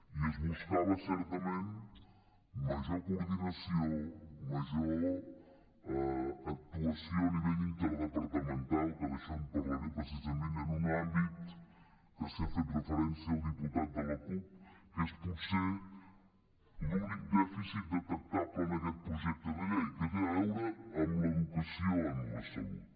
i es buscava certament major coordinació major actuació a nivell interdepartamental que d’això en parlaré precisament en un àmbit que hi ha fet referència el diputat de la cup que és potser l’únic dèficit detectable en aquest projecte de llei que té a veure amb l’educació en la salut